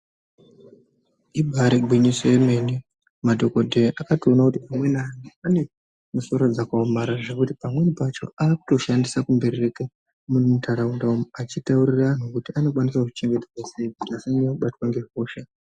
Ibaari gwinyiso yemene, madhokodheya akatoona kuti ,amweni anhu ane misoro dzakaomarara, zvekuti pamweni pacho anotoshandise kumberereka muntharaunda umu, achitaurira anhu kuti anokwanise kuzvichengetedza sei, kuti asanyanye kubatwa ngehosha .